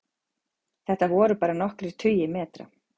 Þetta voru bara nokkrir tugir metra